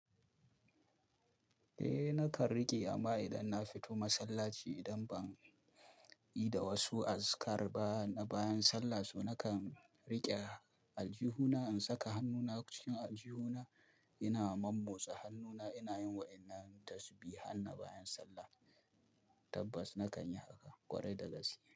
Eh nakan riƙe amma idan na fito masallaci idan ban yi da wasu azikar ba na bayan sallah, so nakan riƙe aljihuna in saka hannuna cikin aljihuna ina mammotsa hannuna ina yin wa'innan tasbihan na bayan sallah. Tabbas nakan yi haka kwarai da gaske.